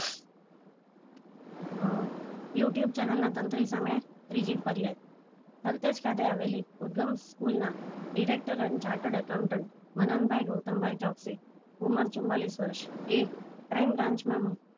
અ youtube channel ના તંત્રી ઓ સામે ત્રીજી ફરિયાદ ખલતેજ ખાતે આવેલી ઉદગમ સ્કૂલ ના director and chartered accounter Mananbhai Gautambhai Chauksi ઉંમર ચુંવાલીસ વર્ષ એ crime branch માં